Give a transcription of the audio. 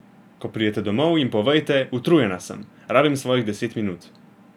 Ko pridete domov, jim povejte, utrujena sem, rabim svojih deset minut.